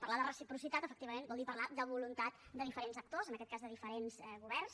parlar de reciprocitat efectivament vol dir parlar de voluntat de diferents actors en aquest cas de diferents governs